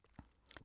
DR K